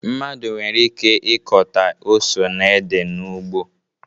Mmadụ nwere ike ịkọta ose na ede n'ugbo